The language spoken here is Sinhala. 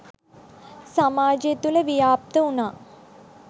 සමාජය තුළ ව්‍යාප්ත වුණා.